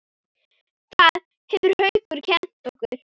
Það hefur Haukur kennt okkur.